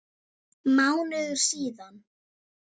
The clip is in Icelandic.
Hvar er VAR?